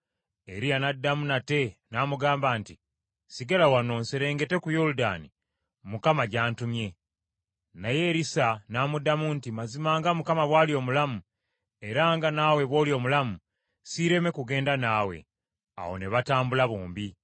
Eriya n’addamu nate n’amugamba nti, “Sigala wano, nserengete ku Yoludaani Mukama gy’antumye.” Naye Erisa n’amuddamu nti, “Mazima nga Mukama bw’ali omulamu, era nga nawe bw’oli omulamu, siireme kugenda naawe.” Awo ne batambula bombi.